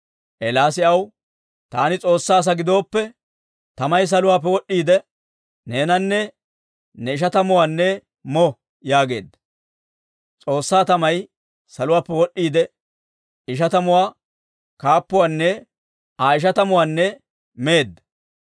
Eelaasi aw, «Taani S'oossaa asaa gidooppe, tamay saluwaappe wod'd'iide, neenanne ne ishatamatuwaanne mo» yaageedda. S'oossaa tamay saluwaappe wod'd'iide, ishatamuwaa kaappuwaanne Aa ishatamatuwaanne meedda.